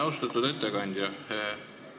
Austatud ettekandja!